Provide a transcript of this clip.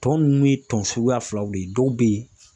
Tɔ ninnu ye tɔn suguya filaw de ye, dɔw bɛ yen